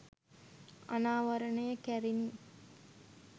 අනාවරණය කැරිණි